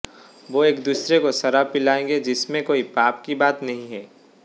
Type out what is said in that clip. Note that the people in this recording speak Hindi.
वो एक दूसरे को शराब पिलायेंगे जिसमे कोई पाप की बात नहीं है